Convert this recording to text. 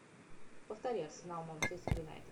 повтори арсенал манчестер юнайтед